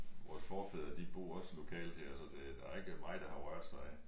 Vores forfædre de bor også lokalt her så det der er ikke meget der har rørt sig